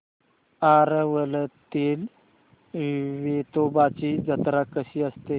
आरवलीतील वेतोबाची जत्रा कशी असते